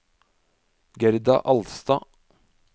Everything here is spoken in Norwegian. Gerda Alstad